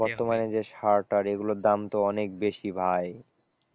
বর্তমানে যে সার টার এগুলোর দাম তো অনেক বেশি ভাই,